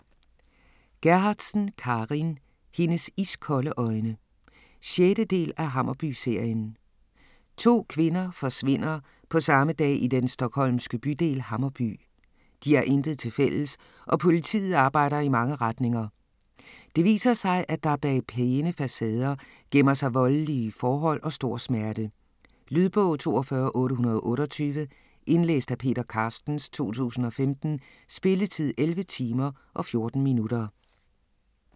Gerhardsen, Carin: Hendes iskolde øjne 6. del af Hammarby-serien. To kvinder forsvinder på samme dag i den stockholmske bydel Hammarby. De har intet tilfælles, og politiet arbejder i mange retninger. Det viser sig, at der bag pæne facader gemmer sig voldelige forhold og stor smerte. Lydbog 42828 Indlæst af Peter Carstens, 2015. Spilletid: 11 timer, 14 minutter.